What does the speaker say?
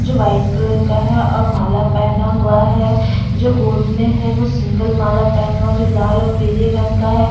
जो white colour का है और माला पहना हुआ है जो गोद में है वो सिंगल माला पहना हुआ जो लाल और पीले रंग का है।